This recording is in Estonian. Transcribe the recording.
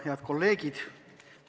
Head kolleegid!